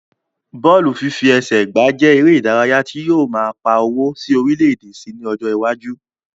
Bọ́ọ̀lù fífi ẹsẹ gbà jẹ èrè ìdárayá tí yóò máa pà owó sí orílè èdè síi ní ọjọ iwájú